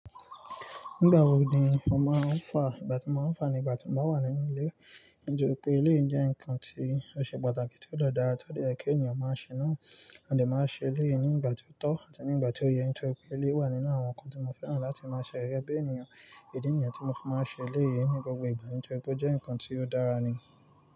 Nígbà wo ni mo máa ń fà? Ìgbà tí mo máa ń fà ni ìgbà tí mo bá wà nínú ilé. Nítorí pé ilé jẹ́ ǹkan tí ó ṣe pàtàkì tí ó dára tó diẹ́ kí ènìyàn máa ṣe náà. Mo lè máa ṣe ilé ní ìgbà tí ó tó àti ní ìgbà tí ó yẹ. Nítorí pé ilé wà nínú àwọn ǹkan tí mo fẹ́ràn láti máa ṣe rẹ́gbẹ́ ènìyàn. Èdè ènìyàn tí mo fi máa ń ṣe ilé ni gbogbo ìgbà. Nítorí pé ó jẹ́ ǹkan tí ó dára ni.